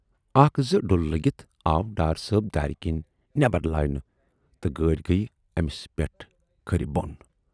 اکھ زٕ ڈُلہٕ لٔگِتھ آو ڈار صٲب دارِ کِنۍ نٮ۪بر لاینہٕ تہٕ گٲڑۍ گٔیہِ ٲمِس پٮ۪ٹھ کھِرِ بۅن۔